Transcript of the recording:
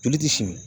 Joli ti fiɲɛ